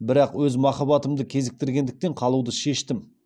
бірақ өз махаббатымды кезіктіргендіктен қалуды шештім